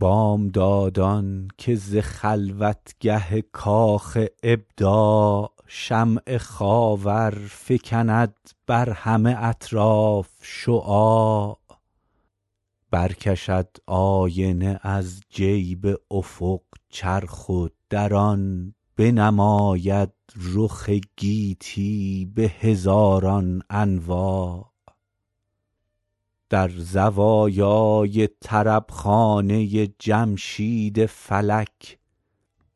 بامدادان که ز خلوتگه کاخ ابداع شمع خاور فکند بر همه اطراف شعاع برکشد آینه از جیب افق چرخ و در آن بنماید رخ گیتی به هزاران انواع در زوایای طربخانه جمشید فلک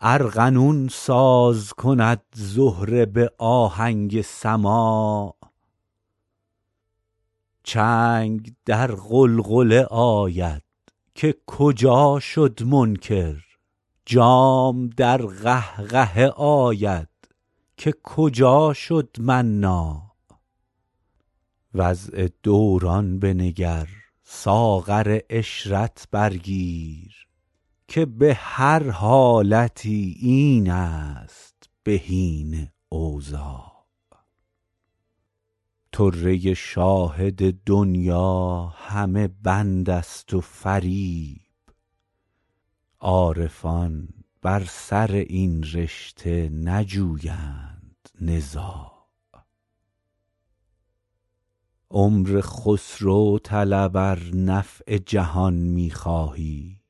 ارغنون ساز کند زهره به آهنگ سماع چنگ در غلغله آید که کجا شد منکر جام در قهقهه آید که کجا شد مناع وضع دوران بنگر ساغر عشرت بر گیر که به هر حالتی این است بهین اوضاع طره شاهد دنیی همه بند است و فریب عارفان بر سر این رشته نجویند نزاع عمر خسرو طلب ار نفع جهان می خواهی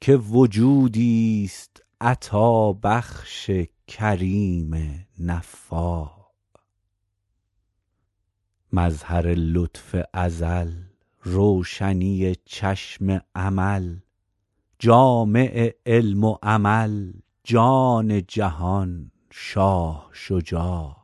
که وجودیست عطابخش کریم نفاع مظهر لطف ازل روشنی چشم امل جامع علم و عمل جان جهان شاه شجاع